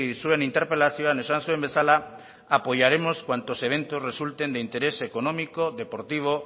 zuen interpelazioan esan zuen bezala apoyaremos cuantos eventos resultan de interés económico deportivo